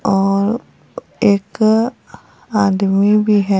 और एक आदमी भी है।